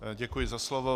Děkuji za slovo.